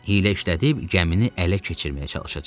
Hilə işlədib gəmini ələ keçirməyə çalışacaq.